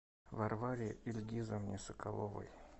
варваре ильгизовне соколовой